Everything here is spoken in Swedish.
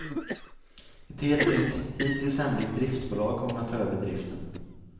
Ett helt nytt, hittills hemligt driftbolag kommer att ta över driften.